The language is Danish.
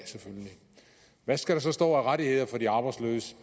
hvad skal der så stå af rettigheder for de arbejdsløse